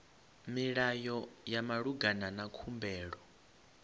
milayo ya malugana na khumbelo